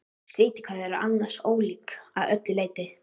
Skrýtið hvað þau eru annars ólík að öllu leyti.